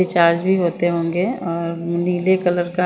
recharge भी होते होंगे और नीले कलर का--